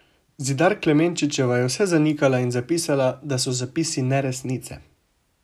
Zidar Klemenčičeva je vse zanikala in zapisala, da so zapisi neresnice.